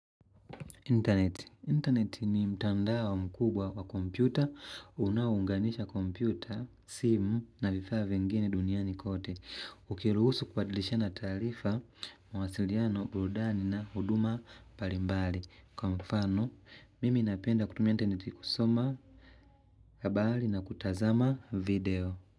Internet. Internet ni mtandao mkubwa wa kompyuta. Unaounganisha kompyuta, simu na vifaa vingine duniani kote. Ukiruhusu kubadilishana taarifa, mawasiliano, burudani na huduma mbalimbali. Kwa mfano, mimi napenda kutumia internet kusoma, habari na kutazama video.